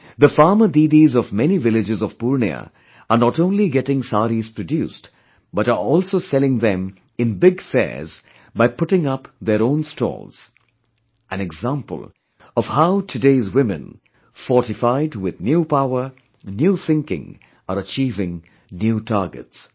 The Farmer Didis of many villages of Purnia are not only getting saris produced, but are also selling them in big fairs by putting up their own stalls an example of how today's women fortified with new power, new thinking are achieving new targets